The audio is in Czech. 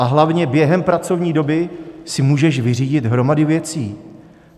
A hlavně, během pracovní doby si můžeš vyřídit hromady věcí.